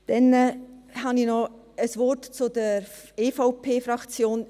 Dann habe ich noch ein Wort zur EVP-Fraktion.